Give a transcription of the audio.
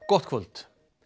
gott kvöld